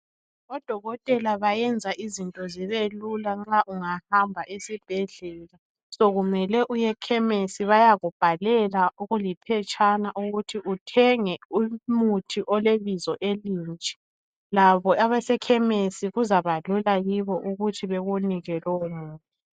Odokotela bayenza izinto zibelula nxa ungahamba esibhedlela. Sokumele uyekhemisi bayakubhalela okuliphetshana ukuthi uthenge umuthi olebizo elinje. Labo abasekhemesi kuzabalula kibo ukuthi bekunike lowo muthi.